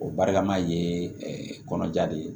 O barika ma ye kɔnɔja de ye